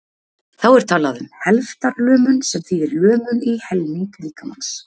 þá er talað um helftarlömun sem þýðir lömun í helming líkamans